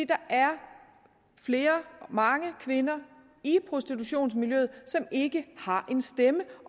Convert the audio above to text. der er mange kvinder i prostitutionsmiljøet som ikke har en stemme